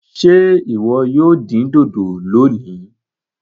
Ṣe iwọ yoo din-din loni?